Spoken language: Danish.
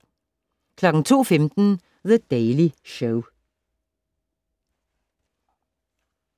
02:15: The Daily Show